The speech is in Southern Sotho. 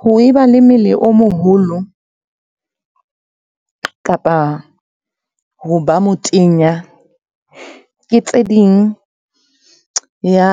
Ho e ba le mmele o moholo kapa ho ba motenya, ke tse ding ya,